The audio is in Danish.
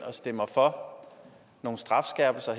stemmer for nogle strafskærpelser